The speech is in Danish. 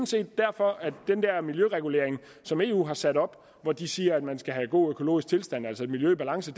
set derfor at den der miljøregulering som eu har sat op hvor de siger at man skal have god økologisk tilstand altså et miljø i balance